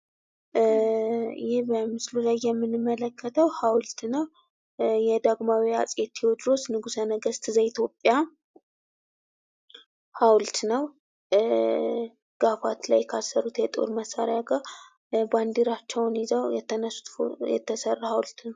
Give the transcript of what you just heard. ይህ በምስሉ ላይ የምንመለከተው ሀውልት ነው ። የዳግማዊ አጼ ቴዎድሮስ ንጉሰ ነገስት ዘኢትዮጵያ ሀውልት ነው ። ጋፋት ላይ ካሰሩት የጦር መሳሪያ ጋር ባንዲራቸውን ይዘው የተነሱት የተሰራ ሀውልት ነው ።